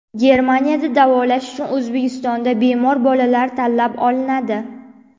Germaniyada davolash uchun O‘zbekistonda bemor bolalar tanlab olinadi.